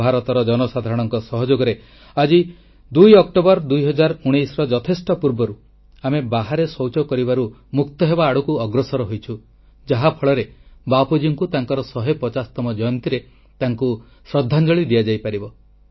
ଭାରତର ଜନସାଧାରଣଙ୍କ ସହଯୋଗରେ 2 ଅକ୍ଟୋବର 2 019 ର ଯଥେଷ୍ଟ ପୂର୍ବରୁ ଆଜି ଆମେ ଖୋଲାଶୌଚ ମୁକ୍ତ ହେବା ଆଡ଼କୁ ଅଗ୍ରସର ହୋଇଛୁ ଯାହା ଫଳରେ ବାପୁଜୀଙ୍କୁ ତାଙ୍କର 150ତମ ଜୟନ୍ତୀରେ ତାଙ୍କୁ ଶ୍ରଦ୍ଧାଞ୍ଜଳି ଦିଆଯାଇ ପାରିବ